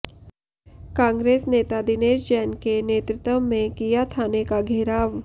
कांग्रेस नेता दिनेश जैन के नेतृत्व में किया थाने का घेराव